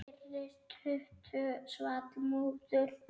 Þeirri stuttu svall móður.